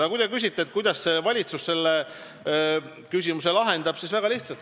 Aga kui te küsite, kuidas valitsus selle küsimuse lahendab, siis vastan, et väga lihtsalt.